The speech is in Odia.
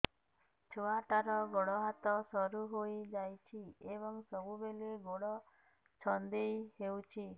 ଛୁଆଟାର ଗୋଡ଼ ହାତ ସରୁ ହୋଇଯାଇଛି ଏବଂ ସବୁବେଳେ ଗୋଡ଼ ଛଂଦେଇ ହେଉଛି